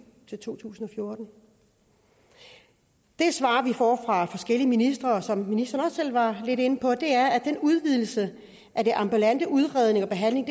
til to tusind og fjorten det svar vi får fra forskellige ministre og som ministeren også selv var lidt inde på er at udvidelsen af den ambulante udredning og behandling